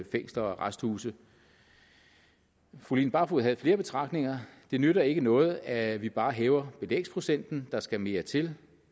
fængsler og arresthuse fru line barfod havde flere betragtninger det nytter ikke noget at vi bare hæver belægsprocenten der skal mere til